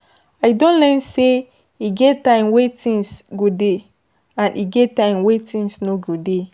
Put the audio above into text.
I don learn sey e get time wey things go dey and e get time wey things no go dey